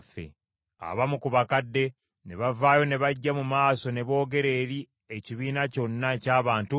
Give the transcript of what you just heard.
Abamu ku bakadde ne bavaayo ne bajja mu maaso ne boogera eri ekibiina kyonna eky’abantu nti,